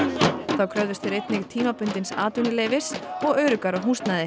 þá kröfðust þeir einnig tímabundins atvinnuleyfis og öruggara húsnæðis